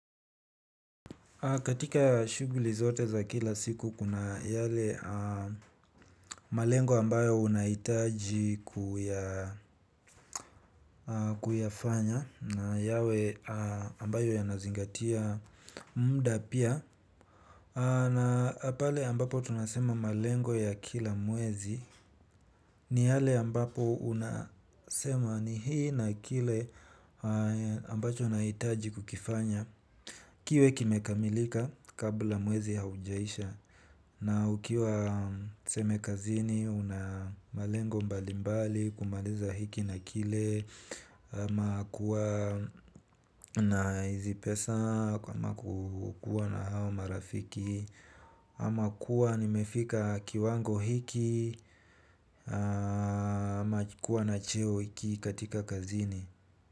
Katika shuguli zote za kila siku kuna yale malengo ambayo unahitaji kuyafanya na yawe ambayo yanazingatia mda pia. Na pale ambapo tunasema malengo ya kila mwezi ni yale ambapo unasema ni hii na kile ambacho unahitaji kukifanya. Kiwe kimekamilika kabla mwezi haujaisha na ukiwa tuseme kazini unamalengo mbalimbali kumaliza hiki na kile ama kuwa na hizi pesa kwa ama kukuwa na hao marafiki ama kuwa nimefika kiwango hiki ama kuwa na cheo hiki katika kazini.